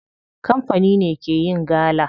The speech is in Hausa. Kamfani ne ke yin gala.